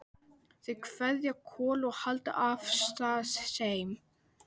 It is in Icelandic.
Þau kveðja Kol og halda af stað heim.